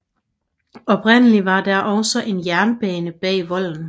Oprindeligt var der også en jernbane bag volden